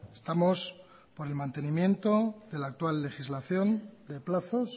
estamos con el mantenimiento de la actual legislación de plazos